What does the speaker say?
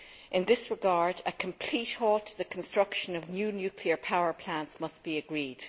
In this regard, a complete halt to the construction of new nuclear power plants must be agreed.